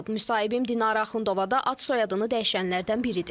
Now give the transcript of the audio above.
Müsahibim Dinara Axundova da ad-soyadını dəyişənlərdən biridir.